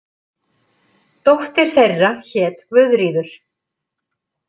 Dóttir þeirra hét Guðríður.